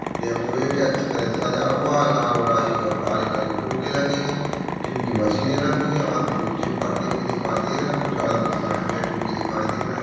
यहा पूरे से अच्छा सजा हुआ है। लाल गुलाबी और काले कलर की फुग्गे लगे है। जिम की मशिने रखी है। वो आदमी कु्छ जिम करते हुए दिखाई दे रहे कु्छ आदमी साइड बैठी हुए दिखाई दे रहे है।